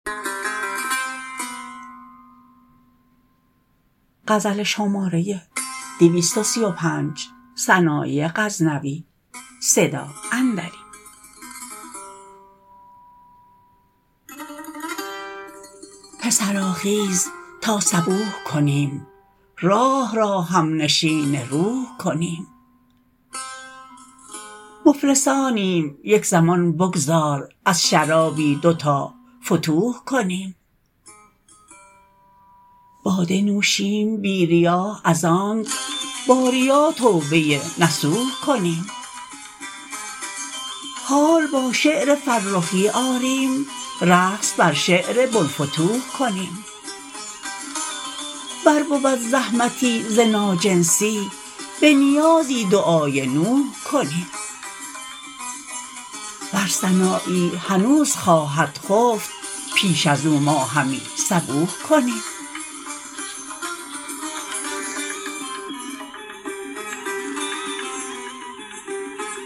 پسرا خیز تا صبوح کنیم راح را همنشین روح کنیم مفلسانیم یک زمان بگذار از شرابی دو تا فتوح کنیم باده نوشیم بی ریا از آنک با ریا توبه نصوح کنیم حال با شعر فرخی آریم رقص بر شعر بلفتوح کنیم ور بود زحمتی ز ناجنسی به نیازی دعای نوح کنیم ور سنایی هنوز خواهد خفت پیش ازو ما همی صبوح کنیم